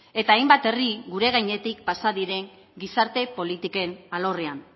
eta hainbat herri gure gainetik pasa diren gizarte politiken alorrean